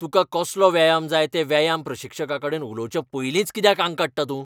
तुका कसलो व्यायाम जाय तें व्यायाम प्रशिक्षकाकडेन उलोवचे पयलींच कित्याक आंग काडटा तूं?